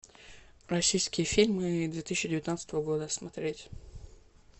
российские фильмы две тысячи девятнадцатого года смотреть